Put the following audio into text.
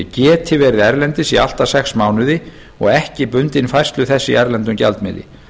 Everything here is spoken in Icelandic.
geti verið erlendis í allt að sex mánuði og ekki bundin færslu þess í erlendum gjaldmiðli